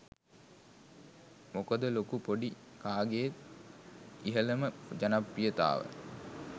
මොකද ලොකු පොඩි කාගෙත් ඉහලම ජනප්‍රියතාව